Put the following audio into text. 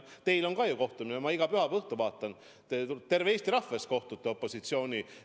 Teil on ka kohtumine, ma iga pühapäeva õhtu vaatan, terve Eesti rahva ees kohtute opositsiooni esindajana.